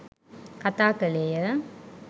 කථා කළේය